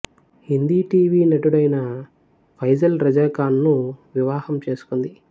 Hindi TV నటుడైన ఫైజల్ రజా ఖాన్ ను వివాహం చేసుకుంది